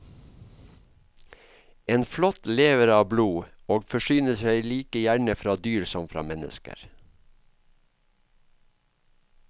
En flått lever av blod, og forsyner seg like gjerne fra dyr som fra mennesker.